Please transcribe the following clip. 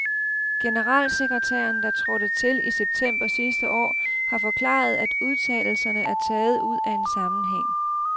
Generalsekretæren, der trådte til i september sidste år, har forklaret, at udtalelserne er taget ud af en sammenhæng.